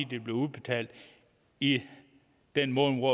det bliver udbetalt i den måned